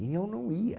E eu não ia.